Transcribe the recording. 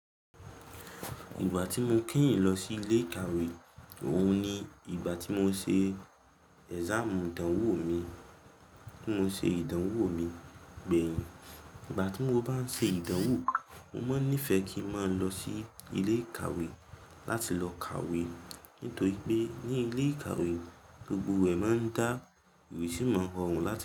Ìgbà tí mo kíyìn lọ sí ilé ìkàwé, òun ni ìgbà tí mo ṣe exam ìdánwò mi, tí mo ṣe ìdánwò mi gbẹ̀yìn. Ìgbà tí mo bá ń ṣe ìdánwò, mo máa ń nífẹ̀ẹ́ kí ń máa lọ sí ilé ìkàwé láti lọ kàwé. Nítorí pé ní ilé ìkàwé, gbogbo ẹ̀ máa ń dá, mi sì máa rọrùn láti kàwé.